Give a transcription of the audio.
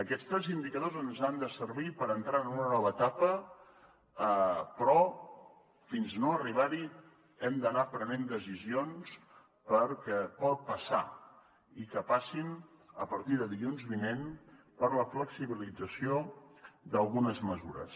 aquests tres indicadors ens han de servir per entrar en una nova etapa però fins no arribar hi hem d’anar prenent decisions perquè pot passar i que passin a partir de dilluns vinent per la flexibilització d’algunes mesures